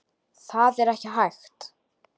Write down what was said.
Það er ekki hægt